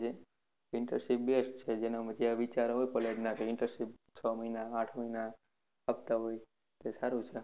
Intership best છે જેના માંથી એવા વિચારો હોય college ના કે internship છ મહિના આઠ મહિના હપ્આતા હોય તે સારું છે.